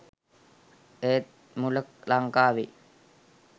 ඒත් මුල ලංකාවේ